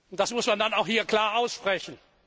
Das muss man dann auch hier klar aussprechen.